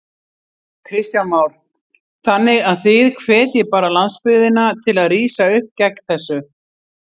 Kristján Már: Þannig að þið hvetjið bara landsbyggðina til að rísa upp gegn þessu?